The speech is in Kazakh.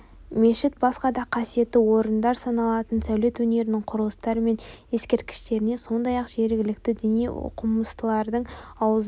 мешіт басқа да қасиетті орындар саналатын сәулет өнерінің құрылыстары мен ескерткіштеріне сондай-ақ жергілікті діни оқымыстылардың аузынан